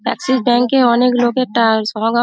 Axis bank -এ অনেক লোকের সমাগম।